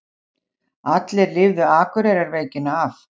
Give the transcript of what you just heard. Allir lifðu Akureyrarveikina af.